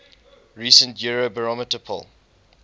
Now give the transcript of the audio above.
recent eurobarometer poll